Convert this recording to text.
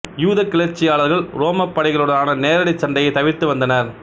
யூத கிளர்ச்சியாளர்கள் உரோம படைகளுடனான நேரடி சண்டையை தவிர்த்து வந்தனர்